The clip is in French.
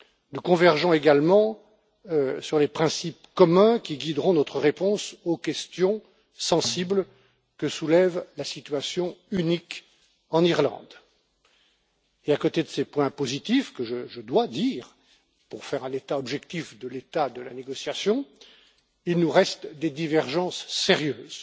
Nous convergeons également sur les principes communs qui guideront notre réponse aux questions sensibles que soulève la situation unique de l'Irlande. À côté de ces points positifs, que je dois mentionner, pour dresser un bilan objectif de l'état de la négociation, il nous reste des divergences sérieuses,